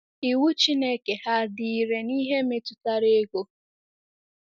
Iwu Chineke ha dị irè n’ihe metụtara ego?